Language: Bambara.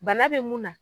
Bana be mun na